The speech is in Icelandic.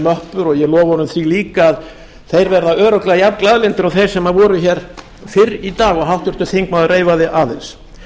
möppur og ég lofa honum því líka að þeir verða örugglega jafnglaðlyndir og þeir sem voru hér fyrr í dag og háttvirtur þingmaður reifaði aðeins